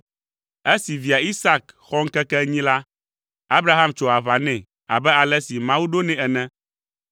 Esi via, Isak, xɔ ŋkeke enyi la, Abraham tso aʋa nɛ abe ale si Mawu ɖo nɛ ene.